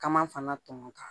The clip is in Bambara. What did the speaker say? Kama fana tɔ ka